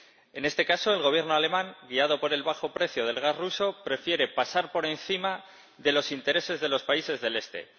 En este caso, el Gobierno alemán, guiado por el bajo precio del gas ruso, prefiere pasar por encima de los intereses de los países del Este.